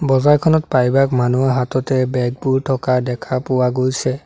বজাৰখনত প্ৰায়ভাগ মানুহৰ হাততে বেগ বোৰ থকা দেখা পোৱা গৈছে।